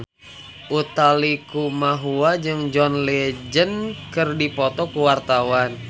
Utha Likumahua jeung John Legend keur dipoto ku wartawan